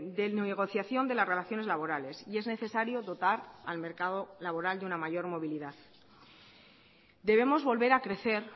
de negociación de las relaciones laborales y es necesario dotar al mercado laboral de una mayor movilidad debemos volver a crecer